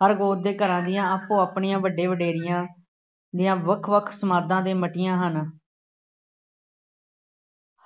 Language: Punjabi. ਫਰਕ ਉਸਦੇ ਘਰਾਂ ਦੀਆਂ ਆਪੋ ਆਪਣੀਆਂ ਵੱਡੇ ਵਡੇਰੀਆਂ ਦੀਆਂ ਵੱਖ ਵੱਖ ਸਮਾਧਾਂ ਅਤੇ ਮੱਟੀਆਂ ਹਨ।